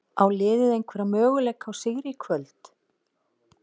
Á liðið einhverja möguleika á sigri í kvöld?